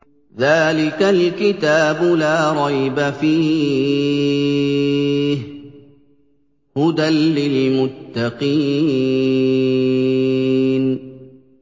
ذَٰلِكَ الْكِتَابُ لَا رَيْبَ ۛ فِيهِ ۛ هُدًى لِّلْمُتَّقِينَ